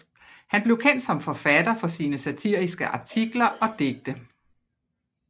Han blev kendt som forfatter for sine satiriske artikler og digte